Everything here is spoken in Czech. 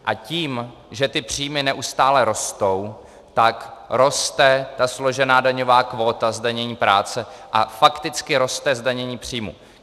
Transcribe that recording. A tím, že ty příjmy neustále rostou, tak roste ta složená daňová kvóta zdanění práce a fakticky roste zdanění příjmů.